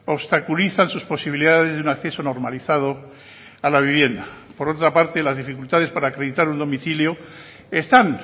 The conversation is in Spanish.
obstaculizan sus posibilidades de un acceso normalizado a la vivienda por otra parte las dificultades para acreditar un domicilio están